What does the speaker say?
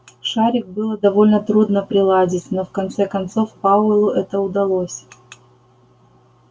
шарик было довольно трудно приладить но в конце концов пауэллу это удалось